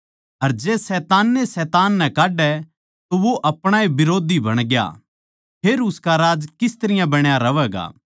अर जै शैतान ए शैतान नै काड्डै तो वो अपणा ए बिरोधी बणग्या फेर उसका राज किस तरियां बण्या रहवैगा